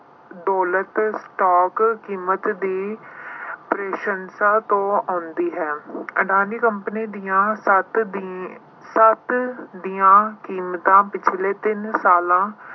ਦੌਲਤ stock ਕੀਮਤ ਦੀ ਤੋਂ ਆਉਂਦੀ ਹੈ। ਅਡਾਨੀ ਕੰਪਨੀ ਦੀਆਂ ਸੱਤ ਅਹ ਸੱਤ ਦੀਆਂ ਕੀਮਤਾਂ ਪਿਛਲੇ ਤਿੰਨ ਸਾਲਾਂ